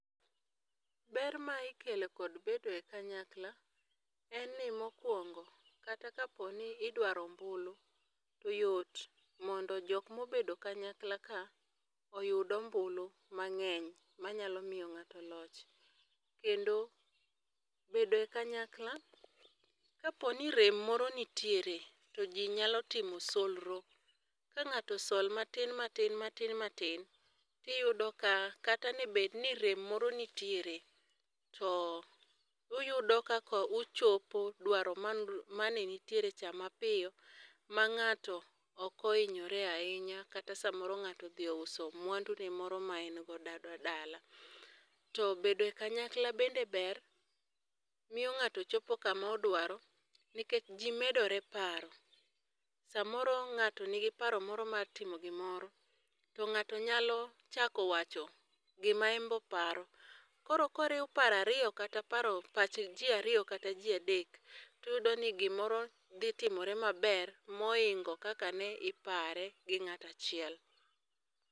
Ber ma ikelo kod bedo e kanyakla, en ni mokwongo, kata ka po ni idwaro ombulu, to yot mondo jok ma obedo kanyakla ka oyud ombulu mangény manyalo miyo ngáto loch. Kendo, bedo e kanyakla, ka po ni rem moro nitiere, to ji nyalo timo solro. Ka ngáto sol matin, matin, matin, matin to iyudo ka, kata ne bed ni rem moro nitiere, to uyudo kaka uchopo dwaro mane nitiere cha mapiyo, ma ngáto ok ohinyore ahinya, kata samoro ngáto odhi ouso mwandune moro ma en godo dala. To bedo e kanyakla bende ber, miyo ngáto chopo kama odwaro, nikech ji medore paro. Samoro ngáto nigi paro moro mar timo gimoro, to ngáto nyalo chako wacho gima en be oparo. Koro koriw paro ariyo, kata pach ji ariyo kata ji adek, to iyudoni gimoro dhi timore maber mohingo kaka ne ipare gi ngáto achiel.